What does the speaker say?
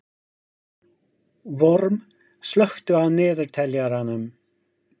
Vorm, slökktu á niðurteljaranum.